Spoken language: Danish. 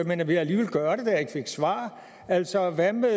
men jeg vil alligevel gøre det da jeg ikke fik svar altså hvad med